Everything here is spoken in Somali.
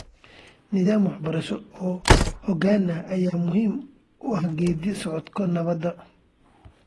Nidaam waxbarasho oo xooggan ayaa muhiim u ah geeddi-socodka nabadda .